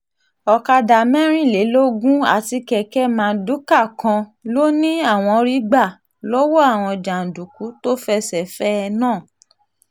ọ̀kadà mẹ́rìnlélógún àti kẹ̀kẹ́ mardukà kan ló ní àwọn rí gbà lọ́wọ́ àwọn jàǹdùkú tó fẹsẹ̀ fẹ́ ẹ náà